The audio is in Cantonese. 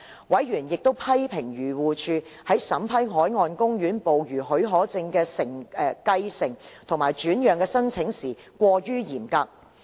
委員亦批評漁護署在審批海岸公園捕魚許可證的繼承或轉讓的申請時過於嚴格。